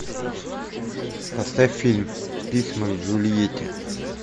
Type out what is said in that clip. поставь фильм письма к джульетте